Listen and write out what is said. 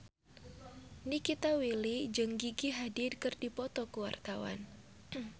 Nikita Willy jeung Gigi Hadid keur dipoto ku wartawan